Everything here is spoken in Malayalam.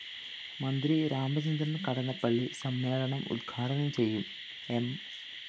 മന്ത്രി രാമചന്ദ്രന്‍ കടന്നപ്പളളി സമ്മേളനം ഉദ്ഘാടനം ചെയ്യും എം